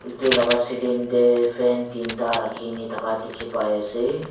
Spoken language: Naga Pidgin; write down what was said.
edu laka ceiling tae fan teenta rakhina thaka dikhipaiase.